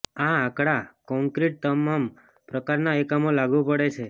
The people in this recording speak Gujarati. આ આંકડા કોંક્રિટ તમામ પ્રકારના એકમો લાગુ પડે છે